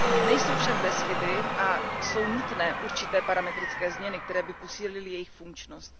Nejsou však bez chyby a jsou nutné určité parametrické změny, které by posílily jejich funkčnost.